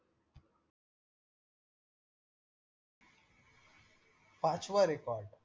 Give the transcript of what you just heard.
पाचवा record